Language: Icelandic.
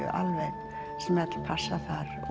smellpassa